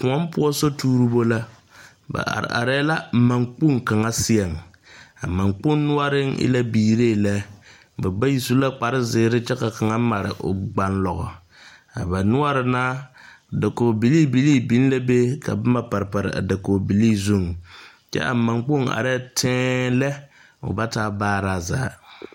koɔ poɔ sotuuribo la ba are la manne kpoŋ kaŋa seɛŋ a manne kpoŋ noɔreŋ waa biire lɛ, ba bayi su la kparre zeɛre kyɛ ka kaŋa mare o gbanlɔɔgɔ a baa noɔre naa dakogi bilii bilii biŋ la be ka boma pare pare a dakogi bilii zuŋ kyɛ a manne kpoŋ are la teɛŋ lɛ o ba taa baaroo.